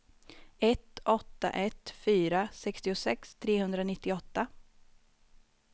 ett åtta ett fyra sextiosex trehundranittioåtta